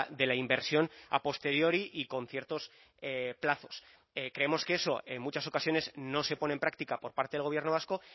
de la inversión a posteriori y con ciertos plazos creemos que eso en muchas ocasiones no se pone en práctica por parte del gobierno vasco